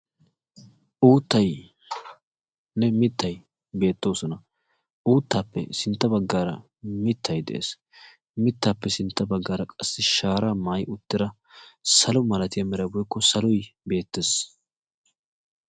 uuttaynne mittay beettoosona. uuttappe sintta baggaara mittay de'ees, mittappe sintta baggaara qassi shaara maayyi utta daro salo malatiya meray woykko saloy beettees.